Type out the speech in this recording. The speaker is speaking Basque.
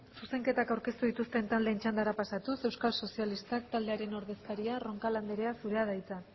zuzenketak aurkeztu dituzten taldeen txandara pasatuz euskal sozialistak taldearen ordezkaria roncal anderea zurea da hitza